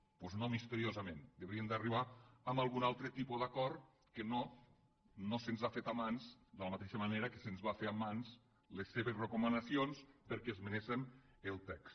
doncs no misteriosament deurien d’arribar a algun altre tipus d’acord que no se’ns ha fet a mans de la mateixa manera que se’ns van fer a mans les seves recomanacions perquè esmenéssem el text